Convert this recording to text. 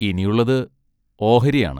ഇനിയുള്ളത് ഓഹരിയാണ്.